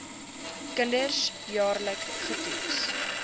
kinders jaarliks getoets